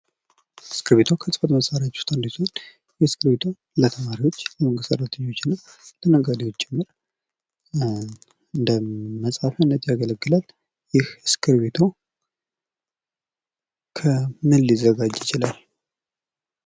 እስክቢርቶ ከህጽፈት መሳሪያዎች ውስጥ አንዱ ሲሆን እስክቢርቶ ለተማሪዎች፥ ለመንግስት ሰራተኞችና፥ ለነጋዴዎች ጭምር እንደ መጻፊያነት ያገለግላል። ይህ እስክብርቶ ከምን ሊዘጋጅ ይችላል?